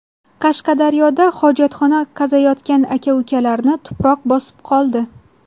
Qashqadaryoda hojatxona qaziyotgan aka-ukalarni tuproq bosib qoldi.